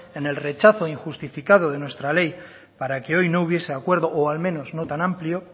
en el rechazo injustificado de nuestra ley para que hoy no hubiese acuerdo o al menos no tan amplio